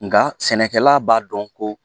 Nka sɛnɛkɛla b'a dɔn ko